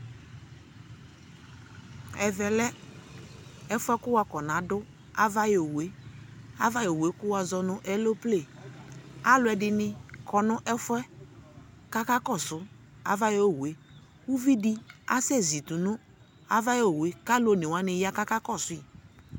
Ɛvɛ lɛ ɛfuɛ kʋ wakɔnadʋ ava yɔ owu e Ava yɔ owu e, kʋ wazɔ nʋ ɛlople Alʋɛdini kɔ nʋ ɛfuɛ kakakɔsʋ ava yɔ owu e Uvidi asɛzi tʋnʋ ava yɔ owue, ka alʋ onewani ya kakakɔsʋi